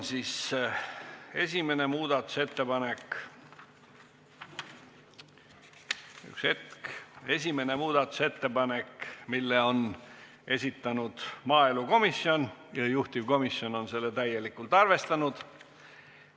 Esimene muudatusettepanek, mille on esitanud maaelukomisjon ja mida on täielikult arvestatud.